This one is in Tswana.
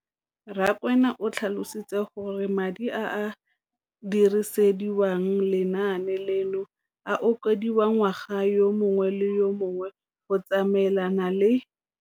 Rakwena o tlhalositse gore madi a a dirisediwang lenaane leno a okediwa ngwaga yo mongwe le yo mongwe go tsamaelana le